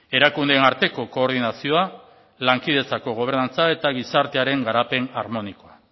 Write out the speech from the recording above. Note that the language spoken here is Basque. erakundeen arteko koordinazioa lankidetzako gobernantza eta gizartearen garapen harmonikoa